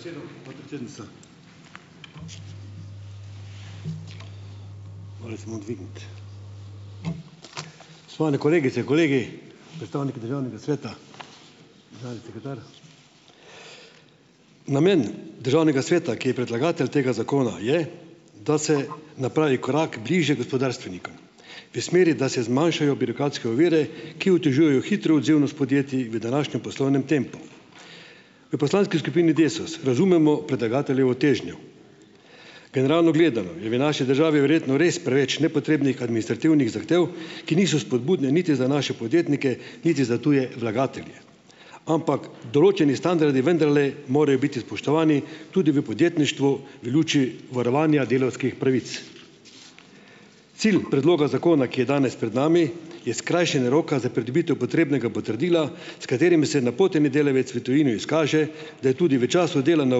Hvala za besedo, podpredsednica. Svane kolegice, kolegi, predstavniki državnega sveta, državni sekretar! Namen državnega sveta, ki je predlagatelj tega zakona, je, da se napravi korak bliže gospodarstvenikom, v smeri, da se zmanjšajo birokratske ovire, ki otežujejo hitro odzivnost podjetji v današnjem poslovnem tempu. V poslanski skupini Desus razumemo predlagateljevo težnjo. Generalno gledano je v naši državi verjetno res preveč nepotrebnih administrativnih zahtev, ki niso spodbudne niti za naše podjetnike niti za tuje vlagatelje, ampak določeni standardi vendarle morajo biti spoštovani tudi v podjetništvu, v luči varovanja delavskih pravic. Cilj predloga zakona, ki je danes pred nami, je skrajšanje roka za pridobitev potrebnega potrdila, s katerim se napoteni delavec v tujino izkaže, da je tudi v času dela na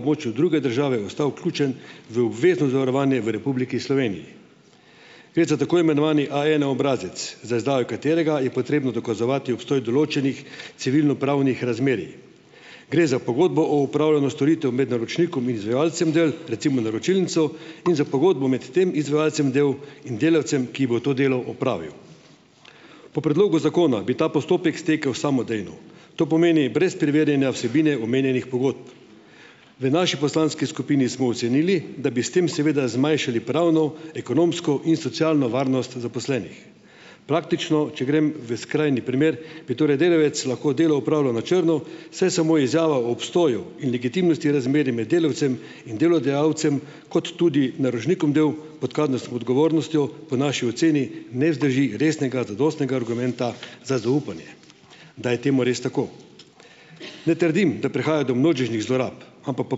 območju druge države ostal vključen v obvezno zavarovanje v Republiki Sloveniji. Gre za tako imenovani A ena obrazec, za izdajo katerega je potrebno dokazovati obstoj določenih civilnopravnih razmerij. Gre za pogodbo o opravljanju storitev med naročnikom in izvajalcem del, recimo, naročilnico, in za pogodbo med tem izvajalcem delo in delavcem, ki bo to delo opravil. Po predlogu zakona bi ta postopek stekel samodejno, to pomeni brez preverjanja vsebine omenjenih pogodb. V naši poslanski skupini smo ocenili, da bi s tem seveda zmanjšali pravno, ekonomsko in socialno varnost zaposlenih. Praktično, če grem v skrajni primer, bi torej delavec lahko delo opravljal na črno, saj samo izjava o obstoju in legitimnosti razmerij med delavcem in delodajalcem kot tudi naročnikom del pot kazensko odgovornostjo po naši oceni ne zdrži resnega, zadostnega argumenta za zaupanje, da je temu res tako. Ne trdim, da prehaja do množičnih zlorab, ampak po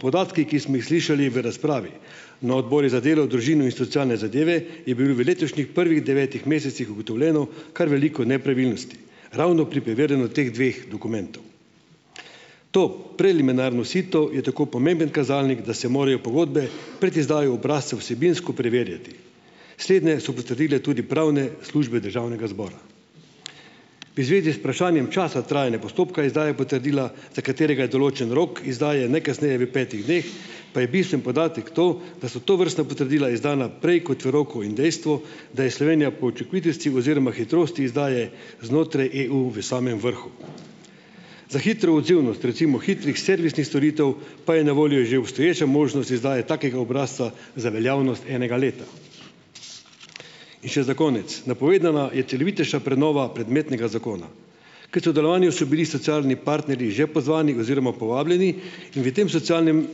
podatkih, ki smo jih slišali v razpravi na Odboru za delo, družino in socialne zadeve, je bilo v letošnjih prvih devetih mesecih ugotovljeno kar veliko nepravilnosti ravno pri preverjanju teh dveh dokumentov. To preliminarno sito je tako pomemben kazalnik, da se morajo pogodbe pred izdajo obrazca vsebinsko preverjati. Slednje so potrdile tudi pravne službe državnega zbora. V zvezi z vprašanjem časa trajanja postopka izdaje potrdila, za katerega je določen rok izdaje najkasneje v petih dneh, pa je bistveni podatek to, da so tovrstna potrdila izdana prej kot v roku, in dejstvo, da je Slovenija po učinkovitosti oziroma hitrosti izdaje znotraj EU v samem vrhu. Za hitro odzivnost, recimo, hitrih servisnih storitev pa je na voljo že obstoječa možnost izdaje takega obrazca za veljavnost enega leta. In še za konec. Napovedana je celovitejša prenova predmetnega zakona. K sodelovanju so bili socialni partnerji že pozvani oziroma povabljeni in v tem socialnem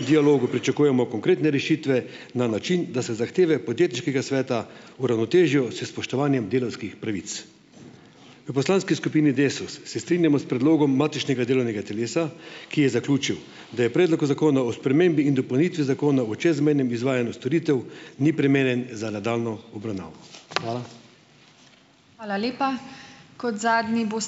dialogu pričakujemo konkretne rešitve na način, da se zahteve podjetniškega sveta uravnotežijo s spoštovanjem delavskih pravic. V poslanski skupini Desus se strinjamo s predlogom matičnega delovnega telesa, ki je zaključil, da je predlog o Zakonu o spremembi in dopolnitvi Zakona o čezmejnem izvajanju storitev ni primeren za nadaljnjo obravnavo. Hvala.